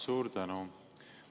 Suur tänu!